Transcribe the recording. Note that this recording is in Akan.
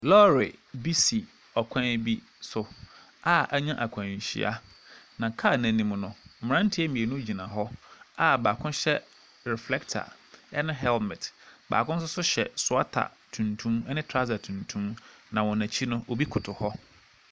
Lɔre bi si kwan bi so a anya akwanhyia, na kaa no anim no, mmeranteɛ mmienu gyina hɔ a baako hyɛ reflector ne helmet. Baako nso so hyɛ sweater tuntum ne trɔsa tuntum, na wɔn akyi no, obi koto hɔ.